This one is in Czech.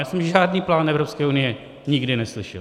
Já jsem žádný plán Evropské unie nikdy neslyšel.